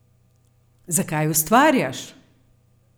Zakaj ustvarjaš!